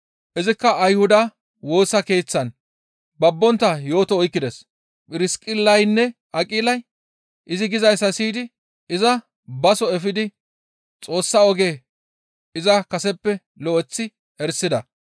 Izikka Ayhuda Woosa Keeththan babbontta yooto oykkides; Phirsiqillaynne Aqilay izi gizayssa siyidi iza baso efidi Xoossa oge iza kaseppe lo7eththi erisida.